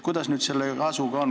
Kuidas sellega on?